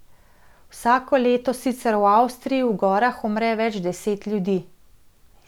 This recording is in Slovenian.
Vsako leto sicer v Avstriji v gorah umre več deset ljudi.